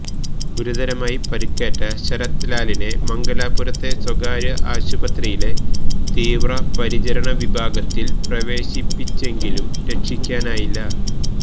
ഗുരുതരമായി പരിക്കേറ്റ ശരത്ത് ലാലിനെ മംഗലാപുരത്തെ സ്വകാര്യാശുപത്രിയിലെ തീവ്രപരിചരണ വിഭാഗത്തില് പ്രവേശിപ്പിച്ചെങ്കിലും രക്ഷിക്കാനായില്ല